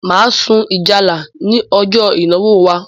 Máa sun ìjálá ní ọjọ ìnáwó wa